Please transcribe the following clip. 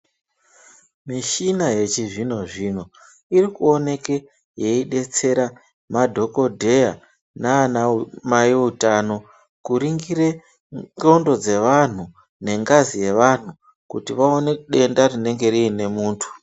Muchina yechizvinozvino iri kuoneka yeidetsera madhokodheya nana Mai utano kungire ndxondo dzevantu nengazi yevantu kuti vaone denda rinenge rine muntu.